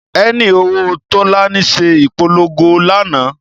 Ẹni òwò Tólání se ìpolongo lánàá